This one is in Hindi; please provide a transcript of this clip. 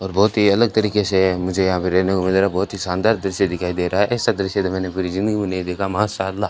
और बहुत ही अलग तरीके से है मुझे यहां पे रहने को मिल रहा बहुत ही शानदार दृश्य दिखाई दे रहा है ऐसा दृश्य तो मैंने पूरी जिंदगी में नहीं देखा मां शार्ला --